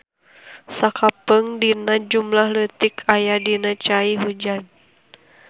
Sakapeung dina jumlah leutik aya dina cai hujan.